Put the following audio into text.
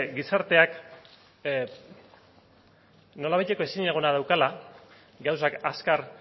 gizarteak nolabaiteko ezinegona daukala gauzak azkar